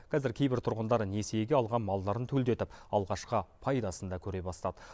қазір кейбір тұрғындар несиеге алған малдарын төлдетіп алғашқы пайдасын да көре бастады